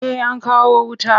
Eh an kawo wuta.